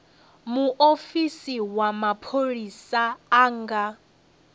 muofisi wa mapholisa a nga